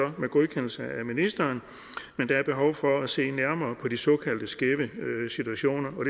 godkendelse af ministeren men der er behov for at se nærmere på de såkaldte skæve situationer og